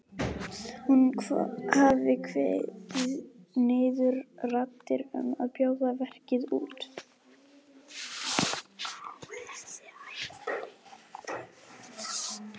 Hún hafi kveðið niður raddir um að bjóða verkið út.